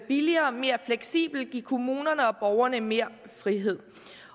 billigere og mere fleksibelt og give kommunerne og borgerne mere frihed